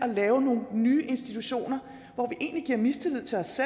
lave nogle nye institutioner hvor vi egentlig giver mistillid til os